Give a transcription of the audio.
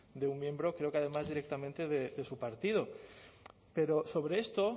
de un miembro creo que además directamente de su partido pero sobre esto